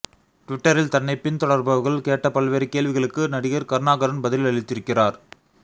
ட்விட்டரில் தன்னைப் பின் தொடர்பவர்கள் கேட்ட பல்வேறு கேள்விகளுக்கு நடிகர் கருணாகரன் பதிலளித்திருக்கிறார்